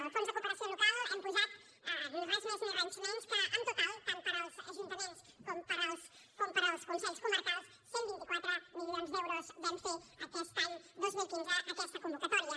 al fons de cooperació local hi hem posat res més ni res menys que en total tant per als ajuntaments com per als consells comarcals cent i vint quatre milions d’euros vam fer aquest any dos mil quinze aquesta convocatòria